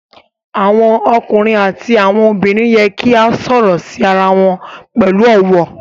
Awọn ọkunrin ati awọn obinrin yẹ ki o sọrọ si ara wọn pẹlu ọwọ